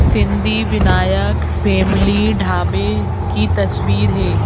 Sindhi Vinayak family ढाबे की तस्वीर है।